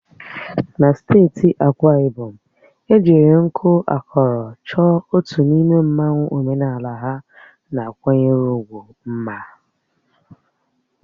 Na steeti Akwa Ibom, ejiri nku akọrọ chọọ otu n'ime mmanwu omenala ha na-akwanyere ugwu mma.